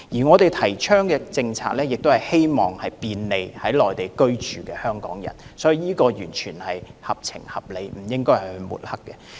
我們提倡的政策，是希望便利在內地居住的香港人，是完全合情合理的，不應該被抹黑。